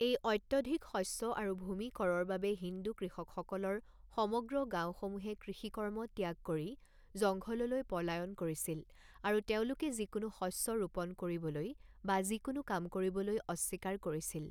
এই অত্যধিক শস্য আৰু ভূমি কৰৰ বাবে হিন্দু কৃষকসকলৰ সমগ্ৰ গাওঁসমূহে কৃষিকৰ্ম ত্যাগ কৰি জংঘললৈ পলায়ন কৰিছিল, আৰু তেওঁলোকে যিকোনো শস্য ৰোপন কৰিবলৈ বা যিকোনো কাম কৰিবলৈ অস্বীকাৰ কৰিছিল।